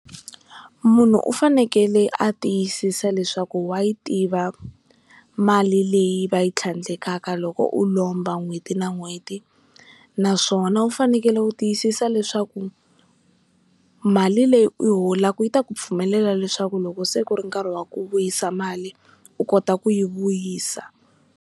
Munhu u fanekele a tiyisisa leswaku wa yi tiva mali leyi va yi tlhandlekaka loko u lomba n'hweti na n'hweti naswona u fanekele ku tiyisisa leswaku mali leyi u yi holaka yi ta ku pfumelela leswaku loko se ku ri nkarhi wa ku vuyisa mali u kota ku yi vuyisa.